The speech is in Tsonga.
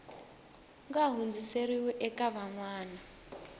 nga hundziseriwi eka van wana